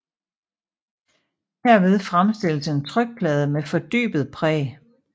Herved fremstilles en trykplade med fordybet præg